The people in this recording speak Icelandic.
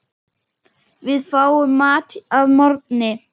Við fáum mat að morgni.